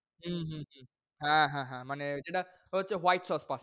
হম হম হম